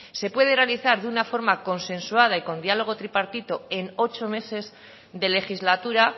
se puede realizar de una forma consensuada y con diálogo tripartito en ocho meses de legislatura